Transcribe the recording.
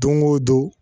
Don o don